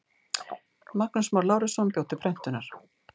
Magnús Már Lárusson bjó til prentunar.